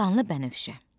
Qanlı Bənövşə.